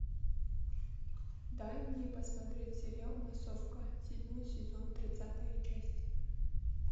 дай мне посмотреть сериал массовка седьмой сезон тридцатая часть